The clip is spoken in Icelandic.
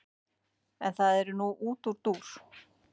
en það er nú útúrdúr